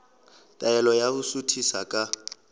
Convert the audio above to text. taelo ya ho suthisa ka